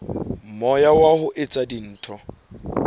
moya wa ho etsa dintho